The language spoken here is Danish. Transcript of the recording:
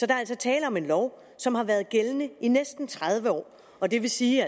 er altså tale om en lov som har været gældende i næsten tredive år og det vil sige